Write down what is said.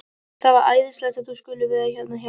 Það er æðislegt að þú skulir vera hérna hjá mér.